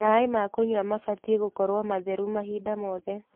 Maĩ ma kũnyua mabatiĩ gũkorwo matheru mahinda mothe.